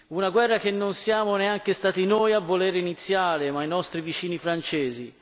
Una guerra che non siamo neanche stati noi a volere iniziare, ma i nostri vicini francesi